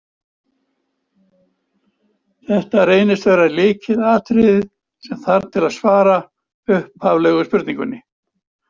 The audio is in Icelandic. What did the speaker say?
Þetta reynist vera lykilatriðið sem þarf til að svara upphaflegu spurningunni.